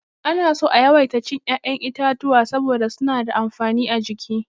Ana so a yawaita cin ya'yan itatuwa saboda suna da amfani a jiki.